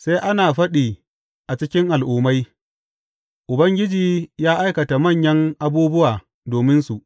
Sai ana faɗi a cikin al’ummai, Ubangiji ya aikata manyan abubuwa dominsu.